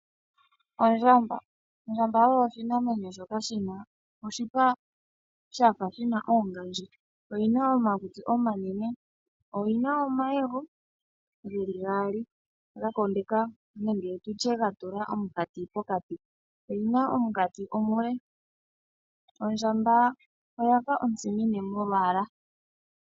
Ondjamba, Ondjamba oyo oshinamwenyo shoka shina oshipa shafa shina oongadji. Oyina magundji omanene, oyina omayego geli gaali ga tula omunkati pokati, oyina omunkati omule. Ondjamba oyafa ontsimine molwaala.